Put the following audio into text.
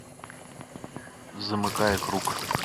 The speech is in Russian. замыкая круг